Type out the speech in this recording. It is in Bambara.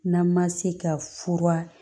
N'an ma se ka fura